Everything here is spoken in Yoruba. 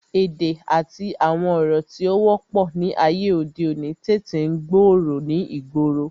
Èdè àti àwọn ọ̀rọ̀ tí ó wọ́pọ̀ ni ayé òde òní tètè ń gbòòrò ni ìgboro